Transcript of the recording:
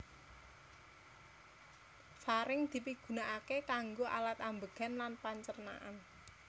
Faring dipigunaaké kanggo alat ambegan lan pancernaan